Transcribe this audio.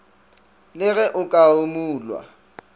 le ge o ka rumulwa